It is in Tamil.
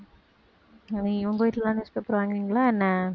நீ உங்க வீட்டுல எல்லாம் newspaper வாங்குவீங்களா என்ன